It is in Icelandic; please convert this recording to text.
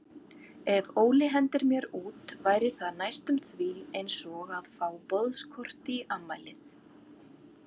Ef Óli hendir mér út væri það næstum því einsog að fá boðskort í afmælið.